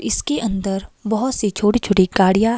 इसके अंदर बहुत सी छोटी-छोटी गाड़ियां --